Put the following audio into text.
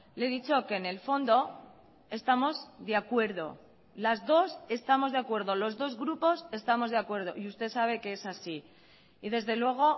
le he dicho que en el fondo estamos de acuerdo las dos estamos de acuerdo los dos grupos estamos de acuerdo y usted sabe que es así y desde luego